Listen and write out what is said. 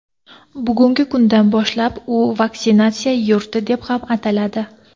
Bugungi kundan boshlab u vaksinatsiya yurti deb ham ataladi.